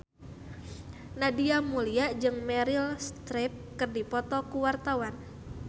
Nadia Mulya jeung Meryl Streep keur dipoto ku wartawan